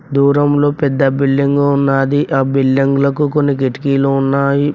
దూరంలో పెద్ద బిల్డింగు ఉన్నాది ఆ బిల్డింగులకు కొన్ని కిటికీలు ఉన్నాయి.